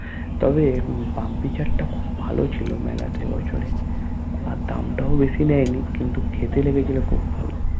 তবে বামবি চাটা খুব ভালো ছিলো মেলাতে এইবছরে আর দাম তাও বেশি নেয়নি কিন্তু খেতে লেগেছিলো খুব ভালো